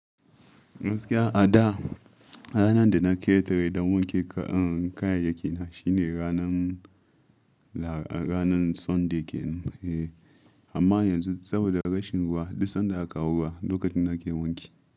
Gaskiya a da ranar da na ƙetare da wanki kayayyaki na shine ranan Sunday, amma yanzu saboda rashin ruwa, duk sanda aka kawo ruwa lokacin na ke wanki.